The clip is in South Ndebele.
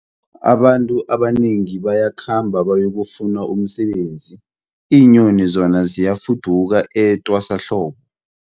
Abantu abanengi bayakhamba bayokufuna umsebenzi, iinyoni zona ziyafuduka etwasahlobo.